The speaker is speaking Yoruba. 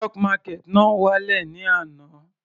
Stock market náà wá lẹ̀ ní àná.